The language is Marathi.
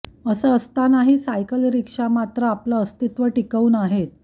अस असतानाही सायकल रिक्षा मात्र आपलं अस्तित्व टिकवून आहेत